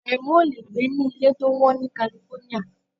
Àrẹ̀mú ò le gbé ní ilé tó wọ́n ní California.